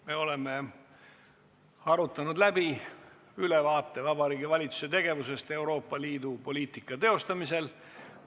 Me oleme arutanud läbi ülevaate Vabariigi Valitsuse tegevusest Euroopa Liidu poliitika teostamisel.